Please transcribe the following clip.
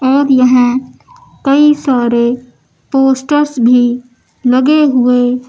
दिया है कई सारे पोस्टर्स भी लगे हुए।